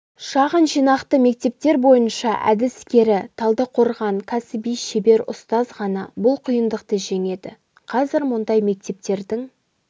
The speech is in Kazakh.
шағын жинақты мектептер бойынша әдіскері талдықорған кәсіби шебер ұстаз ғана бұл қиындықты жеңеді қазір мұндай мектептердің